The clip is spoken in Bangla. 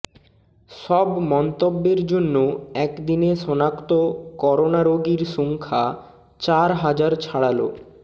সব মন্তব্যের জন্য একদিনে শনাক্ত করোনা রোগীর সংখ্যা চার হাজার ছাড়াল